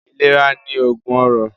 Ìlera ni oògùn ọrọ̀